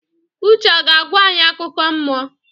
Uche a ga-agwa anyị akụkọ mmụọ?